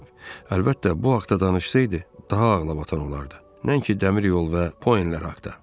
Əlbəttə, bu haqda danışsaydı, daha ağlabatan olardı, nəinki dəmir yolu və Poenlər haqda.